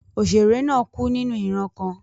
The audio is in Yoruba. Òṣèrè náà kú nínú ìran kan.